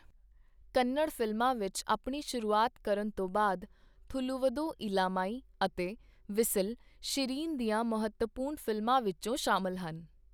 ਕੰਨੜ ਫਿਲਮਾਂ ਵਿੱਚ ਆਪਣੀ ਸ਼ੁਰੂਆਤ ਕਰਨ ਤੋਂ ਬਾਅਦ, 'ਥੁੱਲੁਵਧੋ ਇਲਾਮਾਈ' ਅਤੇ 'ਵਿੱਸਲ' , ਸ਼ਿਰੀਨ ਦੀਆਂ ਮਹੱਤਵਪੂਰਣ ਫਿਲਮਾਂ ਵਿੱਚੋ ਸ਼ਾਮਲ ਹਨ।